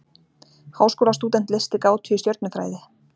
Háskólastúdent leysti gátu í stjörnufræði